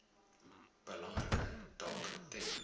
belangrike taak ten